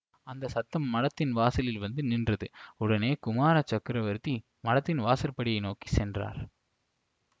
அந்த சத்தம் மடத்தின் வாசலில் வந்து நின்றது உடனே குமார சக்கரவர்த்தி மடத்தின் வாசற்படியை நோக்கி சென்றார்